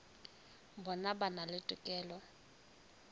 bona ba na le tokelo